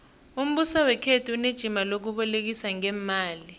umbuso wekhethu unejima lokubolekisa ngeemali